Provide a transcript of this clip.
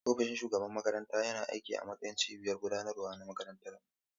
Ofishin shugaban makaranta yana aiki a matsayin cibiyar gudanarwa na makarantar.